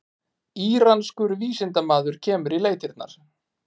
Íranskur vísindamaður kemur í leitirnar